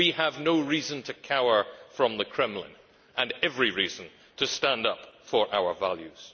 We have no reason to cower from the Kremlin, and every reason to stand up for our values.